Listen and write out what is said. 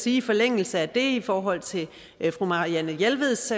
i forlængelse af det og i forhold til fru marianne jelveds